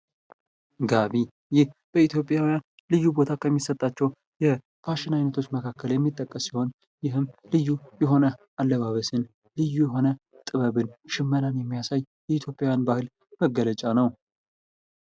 ጋቢ በኢትዮጵያውያን ልዩ ቦታ ከሚሰጣቸው የፋሽን አይነቶች መካከል የሚጠቀስ ሲሆን ይህም ልዩ የሆነ አለባበስን ልዩ የሆነ ጥበብን ሽመናን የሚያሳይ የኢትዮጵያን መገለጫ ነው።